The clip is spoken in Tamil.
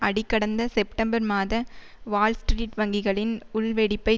அடி கடந்த செப்டம்பர் மாத வால்ஸ்ட்ரீட் வங்கிகளின் உள்வெடிப்பை